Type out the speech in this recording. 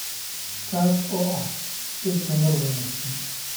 Kaas oo ah il tamar wanaagsan.